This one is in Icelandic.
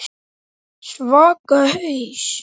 Svaka haus.